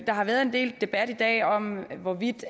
der har været en del debat i dag om hvorvidt